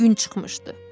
Gün çıxmışdı.